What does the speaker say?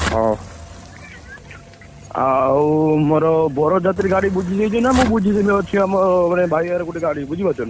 ହଉ, ଆଉ, ମୋର ବରଯାତ୍ରୀ ଗାଡି ବୁଝି ହେଇଛି, ନା ମୁଁ ବୁଝିଦେବୀ? ଅଛି ଆମ ଭାଇ ଗୋଟେ ଗାଡି ବୁଝିପାରୁଛ ନା?!